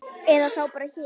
Eða þá bara hér.